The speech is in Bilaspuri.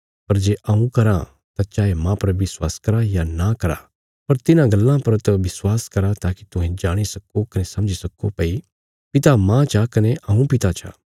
पर जे हऊँ कराँ तां चाये माह पर विश्वास करा या नां करा पर तिन्हां गल्लां पर त विश्वास करा ताकि तुहें जाणी सक्को कने समझी सक्को भई पिता माह चा कने हऊँ पिता चा